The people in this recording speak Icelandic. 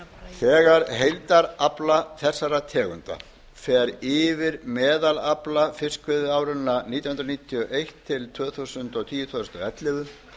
þegar heildarafli þessara tegunda fer yfir meðalafla fiskveiðiáranna nítján hundruð níutíu og eitt til tvö þúsund og tíu til tvö þúsund og ellefu